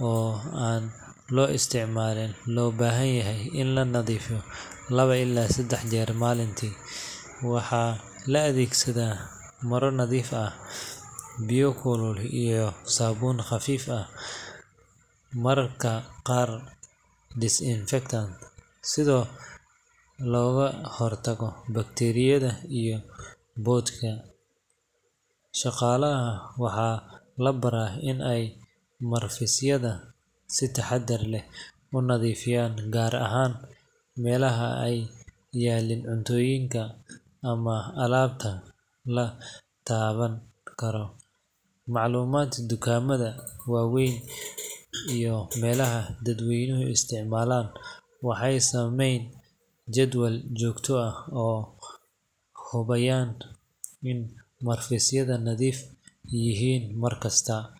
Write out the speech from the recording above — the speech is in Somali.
oo loisricmalin waha lobahayahay in lanadifiyo lawa ila sadah jeer malinti waha laadegsada maro nadiif ah biyo kulul iyo sabuun qafif ah, marka gaar sida logahortago, tiryada iyo bodka shagalaha waxa labara in ay marfisyada si tartib ah unadifiyaan gaar ahan, melaha ay yaliin cuntoyinka ama alabta latabankaro, maclumadka dukama waeeyn iyo melaha dadweynu isticmalan waxay sameyn jadwal jogto ah hubayan in marfisyada nadif yixiin markasta.